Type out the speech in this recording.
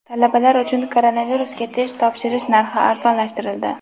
Talabalar uchun koronavirusga test topshirish narxi arzonlashtirildi.